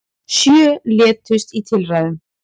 Sjö létust í tilræðunum